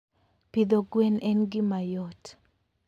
Pidho gwen en gima yot.